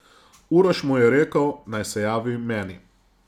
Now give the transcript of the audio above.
Uroš mu je rekel, naj se javi meni.